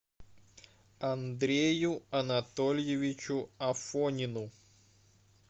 андрею анатольевичу афонину